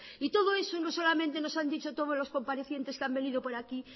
y todo eso no solamente nos han dicho todos los comparecientes que han venido por aquí